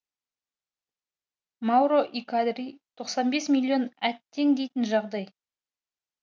мауро икарди тоқсан бес миллион әттең дейтін жағдай